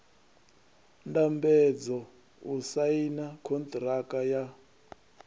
ndambedzo u saina konṱiraka ya